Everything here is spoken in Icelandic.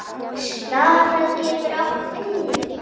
Snara getur átt við